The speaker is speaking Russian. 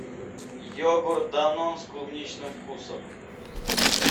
йогурт данон с клубничным вкусом